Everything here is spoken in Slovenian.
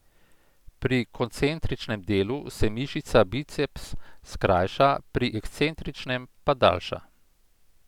Pri koncentričnem delu se mišica biceps skrajša, pri ekscentričnem pa daljša.